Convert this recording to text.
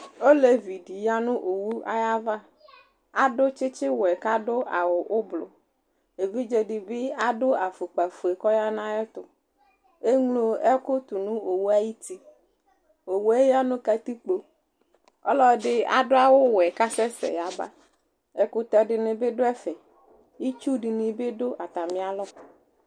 Olevi dι ya nʋ owu ayava Adʋ tsιtsι wɛ kʋ adʋ awʋ ʋblʋ Evidze dι bι adʋ afʋkpa fue kʋ ɔya nʋ ayɛtʋ Eŋlo ɛkʋ tʋ nʋ owu yɛ ayι uti Owu yɛ ya nʋ katikpo Ɔlʋɛdι adʋ awʋ wɛ kʋ asɛsɛ aba Ɛkʋtɛ dιnι bι dʋ ɛfɛ, itsuu dιnι bι dʋ atamι alɔ